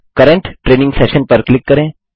current training session पर click करें